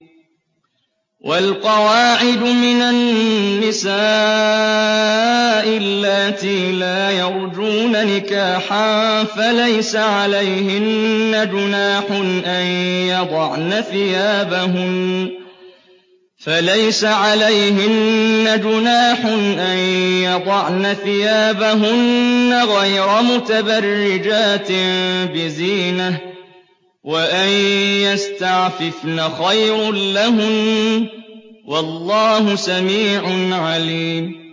وَالْقَوَاعِدُ مِنَ النِّسَاءِ اللَّاتِي لَا يَرْجُونَ نِكَاحًا فَلَيْسَ عَلَيْهِنَّ جُنَاحٌ أَن يَضَعْنَ ثِيَابَهُنَّ غَيْرَ مُتَبَرِّجَاتٍ بِزِينَةٍ ۖ وَأَن يَسْتَعْفِفْنَ خَيْرٌ لَّهُنَّ ۗ وَاللَّهُ سَمِيعٌ عَلِيمٌ